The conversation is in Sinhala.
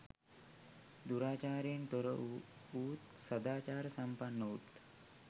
දුරාචාරයෙන් තොර වූත්, සදාචාර සම්පන්න වූත්